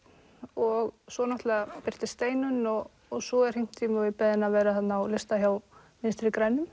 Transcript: og svo náttúrulega birtist Steinunn og svo er hringt í mig og ég beðin að vera á lista hjá Vinstri grænum